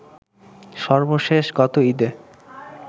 সর্বশেষ গত ঈদে